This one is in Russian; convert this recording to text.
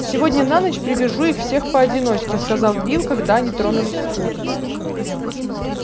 сегодня на ночь привяжу их всех поодиночке сказал билл когда они тронулись в путь